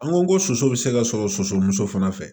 An go soso be se ka sɔrɔ sosomuso fana fɛ